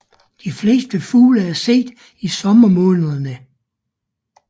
De fleste fugle er set i sommermånederne